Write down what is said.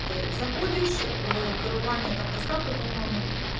ты заходишь в караване там доставка по моему